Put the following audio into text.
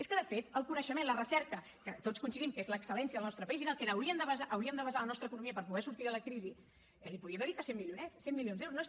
és que de fet el coneixement la recerca que tots coincidim que és l’excel·lència al nostre país és en el que hauríem de basar la nostra economia per poder sortir de la crisi eh hi podíem dedicar cent milionets cent milions d’euros